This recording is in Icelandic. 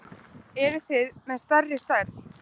Eruð þið með stærri stærð?